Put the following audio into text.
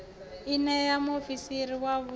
i ṋee muofisiri wa vhuun